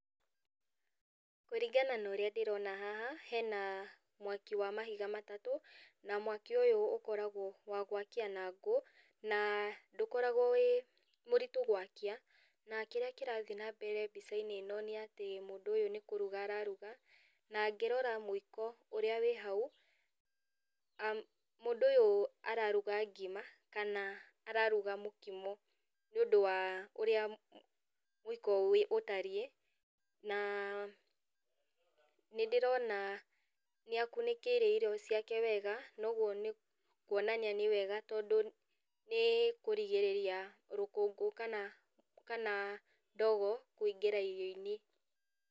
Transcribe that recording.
Kũringana na ũrĩa ndĩrona haha, hena mwaki wa mahiga matatũ, na mwaki ũyũ ũkoragwo wa gwakia na ngũ, na ndũkoragwo wĩ mũritũ gwakia, na kĩrĩa kĩrathiĩ nambere mbicainĩ ĩno nĩ atĩ mũndũ ũyũ nĩ kũruga araruga, na ngĩrora mũiko ũrĩa wĩ hau, mũndũ ũyũ araruga ngima, kana araruga mũkimo. Nĩũndũ wa ũrĩa mũiko ũtariĩ, na nĩndĩrona nĩakunĩkĩire irio ciake wega, na ũguo nĩ kuonania nĩ wega tondũ nĩ kũrigĩrĩria rũkũngũ kana kana ndogo, kũingĩra irioinĩ.